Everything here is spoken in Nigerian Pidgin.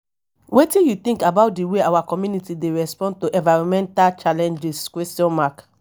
wetin you think about di way our community dey respond to environmental challenges?